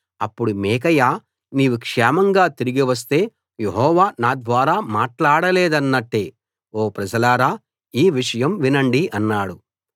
అప్పుడు మీకాయా నీవు క్షేమంగా తిరిగి వస్తే యెహోవా నాద్వారా మాట్లాడలేదన్నట్టే ఓ ప్రజలారా ఈ విషయం వినండి అన్నాడు